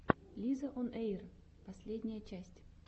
лизаонэйр последняя часть